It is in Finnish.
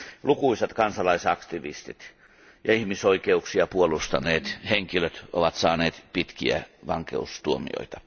Lukuisat kansalaisaktivistit ja ihmisoikeuksia puolustaneet henkilöt ovat saaneet pitkiä vankeustuomioita.